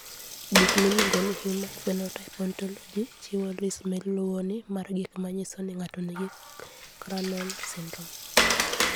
Buk miluongo ni Human Phenotype Ontology chiwo list ma luwoni mar gik ma nyiso ni ng'ato nigi Crandall syndrome.